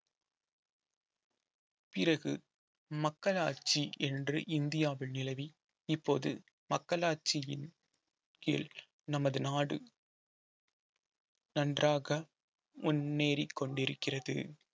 பிறகு மக்களாட்சி என்று இந்தியாவில் நிலவி இப்போது மக்களாட்சியின் கீழ் நமது நாடு நன்றாக முன்னேறிக் கொண்டிருக்கிறது